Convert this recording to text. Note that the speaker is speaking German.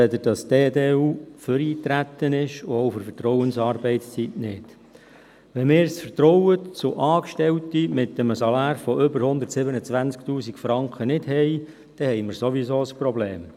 Wenn wir das Vertrauen in Angestellte mit einem Salär von mehr als 127 000 Franken nicht haben, dann haben wir sowieso ein Problem.